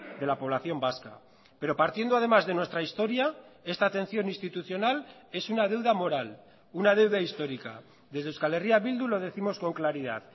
de la población vasca pero partiendo además de nuestra historia esta atención institucional es una deuda moral una deuda histórica desde euskal herria bildu lo décimos con claridad